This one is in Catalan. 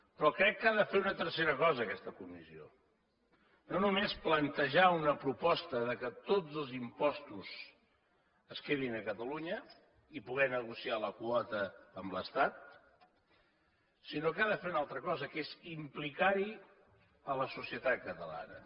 però crec que ha de fer una tercera cosa aquesta comissió no només plantejar una proposta que tots els impostos es quedin a catalunya i poder negociar la quota amb l’estat sinó que ha de fer una altra cosa que és implicar hi la societat catalana